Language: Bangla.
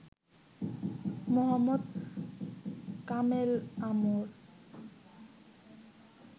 মোহাম্মদ কামেল আমর